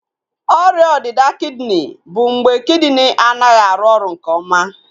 Ọrịa ọdịda kidini bụ mgbe kidini anaghị arụ oru nke oma